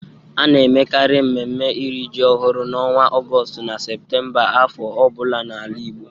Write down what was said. A na-emekarị mmemme iri ji ọhụrụ n'ọnwa Ọgọstụ na Seputemba afọ ọ bụla n'ala Igbo.